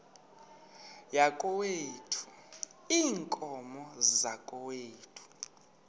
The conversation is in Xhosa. yakokwethu iinkomo zakokwethu